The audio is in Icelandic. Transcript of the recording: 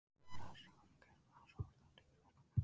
Mara er samgermanskt orð, það er til í flestum germönskum málum.